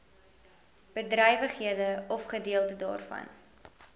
bedrywighede ofgedeelte daarvan